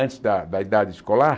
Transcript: Antes da da idade escolar?